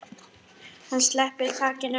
Hann sleppir takinu.